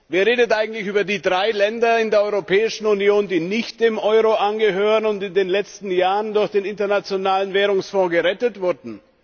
Wer redet eigentlich über die drei Länder in der Europäischen Union, die nicht dem Euro angehören und die in den letzten Jahren durch den Internationalen Währungsfonds gerettet wurden?